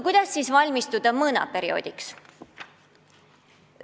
Kuidas siis valmistuda mõõnaperioodiks?